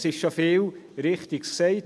Es wurde schon viel Richtiges gesagt.